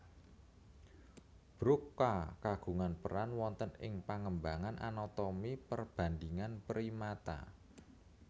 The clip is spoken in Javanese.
Broca kagungan peran wonten ing pengembangan anatomi perbandingan primata